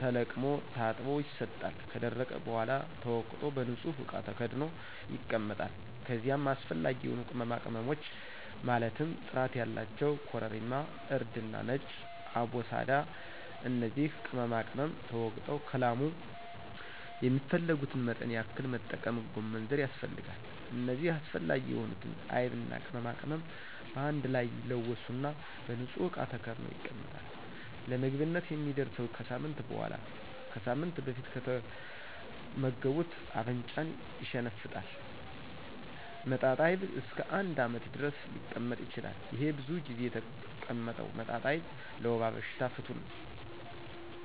ተለቅሞ ታጥቦ ይሰጣል ከደረቀ በሗላ ተወቅጦ በንጹህ እቃ ተከድኖ ይቀመጣል ከዚይም አሰፈላጊ የሆኑ ቅመማቅመሞች ማለትም ጥራት ያላቸው ኮረሪማ :እርድና ነጭ አቦስዳ እነዚህ ቅመማቅመም ተወግጠው ከላሙ የሚፈልጉትን መጠን ያክል መጠቀም ጎመንዘር ያስፈልጋል እነዚህ አስፈላጊ የሆኑትን አይብና ቅመማቅመም በአንድ ላይ ይለወሱና በንጹህ እቃ ተከድኖ ይቀመጣል ለምግብነት የሚደርሰው ከሳምንት በሗላ ነው ከሳምንት በፊት ከተመገቡት አፍንጫን ይሸነፍጣል መጣጣይብ እስከ አንድ አመት ድረስ ሊቀመጥ ይችላል። ይሄ ብዙ ጊዜ የተቀመጠው መጣጣይብ ለወባ በሽታ ፍቱን መድሀኒት ነው ከስሯ ነቅሎ ይጥላታል።